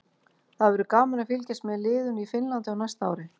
Það verður gaman að fylgjast með liðinu í Finnlandi á næsta ári.